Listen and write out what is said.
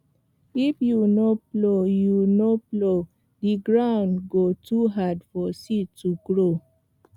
if you no plow you no plow the ground go too hard for seed to grow